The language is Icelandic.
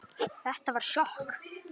Þetta var sjokk